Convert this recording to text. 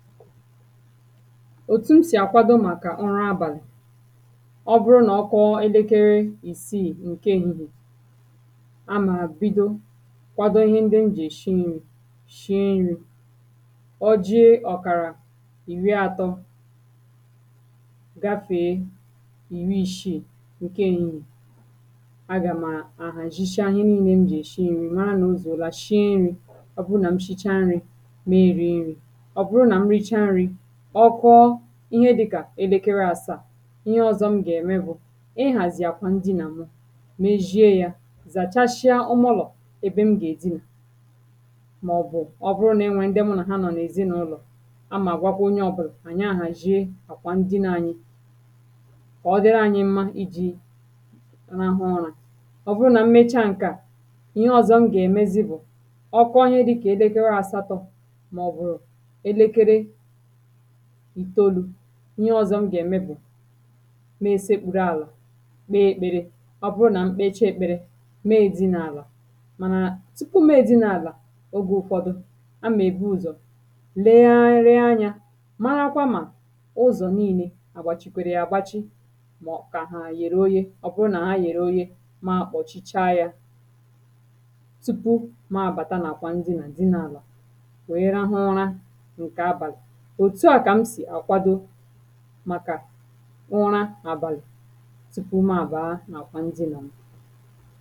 òtù m sì àkwado màkà ụra abàlị̀ ọ bụrụ nà ọ kwọọ elekere ìsiì ǹke ehìhiè a mà bido kwado ihe ndị m jì èshi nrī shie nrī ọ jie ọ̀kàrà ìri àtọ gafèe ìri ìshiì ǹke èhihiè agà m̀ à àhàzhisha ihe niīnē m jì èshi nrī mara nà o zùola shie nrī ọ bụrụ nà m shicha nrī me ēriē nrī ọ bụrụ nà m richa nrī ọ kwọọ ihe dị̄kà elekere āsāà ihe ọ̄zọ̄ m gà-ème bụ̀ ịhàzị̀ àkwà ndinà mụ mezhie yā zàchashịa ụmụlọ̀ ebe m gà-èdinà màọ̀bụ̀ ọ bụrụ nà enwèrè ndị mụ nà ha nọọ̀ nà ezìnụ̄lọ̀ a mà-àgwakwa onye ọ̄bụ̄là anyị̀ àhàzhie àkwà ndinā ānyị̄ kà ọ dịrị anyị mma ijī rahụ ụrā ọ bụrụ nà m mecha ǹke à ihe ọ̄zọ̄ m gà-èmezi bụ̀ ọ kwọọ ihe dị̄kà elekere àsatọ̄ màọ̀bụ̀ elekere ìtèolū ihe ọ̄zọ̄ m gà-ème bụ me èsekpùrù àlà kpee ēkpērē ọ bụrụ nà m kpecha ēkpērē meē dinā àlà mànà tupu meē dinā àlà ogē ụfọdụ a mà èbu ụ̀zọ̀ legharị anyā marakwa mà ụzọ̀ niīnē àgbàch̀ikwèrè yà àgbachi mọ̀ kà hà yèrè oye ọ bụrụ nà ha yèrè oye ma àkpọ̀chicha yā tupu ma àbàta n’àkwà ndinà dinā àlà nwèe rahụ ụra ǹkè abàlị̀ òtu à kà m sì àkwado màkà ụra àbàlị̀ tupu ma àbàa n’àkwà ndinà m